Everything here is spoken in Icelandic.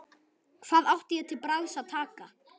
Hvað átti ég til bragðs að taka?